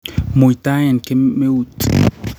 muitaen kemeut